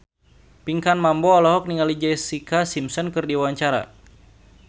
Pinkan Mambo olohok ningali Jessica Simpson keur diwawancara